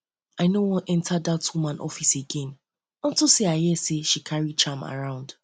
i no wan enter wan enter dat woman office again unto say i hear she dey carry charm around